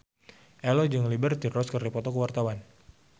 Ello jeung Liberty Ross keur dipoto ku wartawan